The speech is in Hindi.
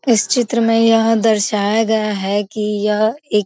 इस चित्र में यह दर्शाया गया है कि यह एक --